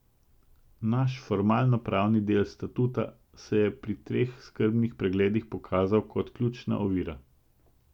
Naš formalnopravni del statuta se je pri teh skrbnih pregledih pokazal kot ključna ovira.